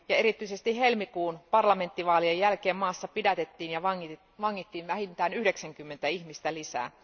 Erityisesti helmikuun parlamenttivaalien jälkeen maassa pidätettiin ja vangittiin vähintään 90 ihmistä lisää.